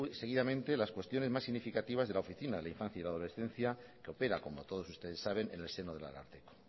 seguidamente las cuestiones más significativas de la oficina de la infancia y la adolescencia que opera como todos ustedes saben en el seno del ararteko